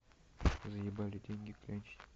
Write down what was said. заебали деньги клянчить